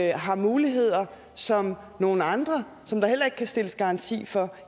jeg har muligheder som nogle andre som der heller ikke kan stilles garanti for